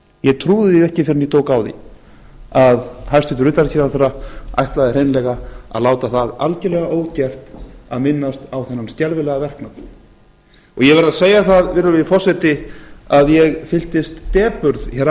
ég trúði því ekki fyrr en ég tók á því að hæstvirtur utanríkisráðherra ætlaði hreinlega að láta það algerlega ógert að minnast á þennan skelfilega verknað og ég verð að segja það virðulegi forseti að ég fylltist depurð hér